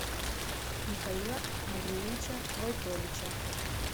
михаила андреевича войтовича